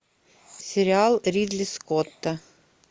сериал ридли скотта